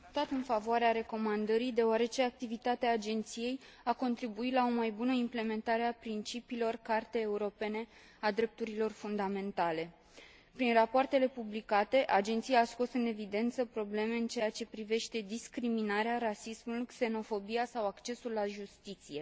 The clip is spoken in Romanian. Am votat în favoarea recomandării, deoarece activitatea Agenției a contribuit la o mai bună implementare a principiilor Cartei drepturilor fundamentale a Uniunii Europene. Prin rapoartele publicate, Agenția a scos în evidență probleme în ceea ce privește discriminarea, rasismul, xenofobia sau accesul la justiție.